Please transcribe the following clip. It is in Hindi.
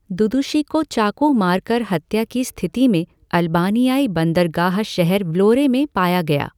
दुदुशी को चाकू मारकर हत्या की स्तिथि में अल्बानियाई बंदरगाह शहर व्लोरे में पाया गया।